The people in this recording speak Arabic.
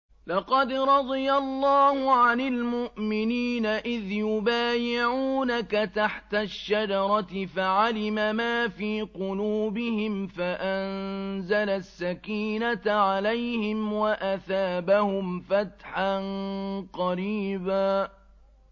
۞ لَّقَدْ رَضِيَ اللَّهُ عَنِ الْمُؤْمِنِينَ إِذْ يُبَايِعُونَكَ تَحْتَ الشَّجَرَةِ فَعَلِمَ مَا فِي قُلُوبِهِمْ فَأَنزَلَ السَّكِينَةَ عَلَيْهِمْ وَأَثَابَهُمْ فَتْحًا قَرِيبًا